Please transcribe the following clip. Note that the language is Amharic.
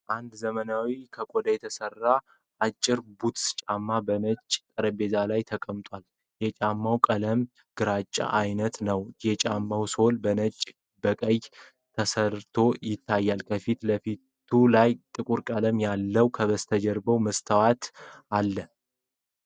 አንድ ዘመናዊ ከቆዳ የተሰራ አጭር ቡትስ ጫማ በነጭ ጠረጴዛ ላይ ተቀምጧል። የጫማው ቀለም ግራጫ ዓይነት ነው። የጫማው ሶል በነጭና በቀይ ተሰርቶ ይታያል፣ ከፊቱ ላይ ጥቁር ቀለም አለው። ከጀርባ መስታወት ይታያል።